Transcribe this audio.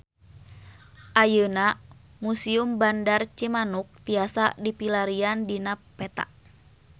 Ayeuna Museum Bandar Cimanuk tiasa dipilarian dina peta